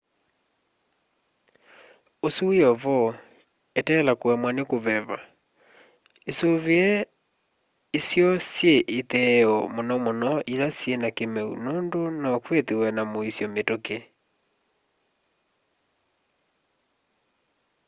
usu wi o vo eteela kuemwa ni kuveva isuvie isio syi itheeo muno muno ila syina kimeu nundu no kwithwe na muisyo mituki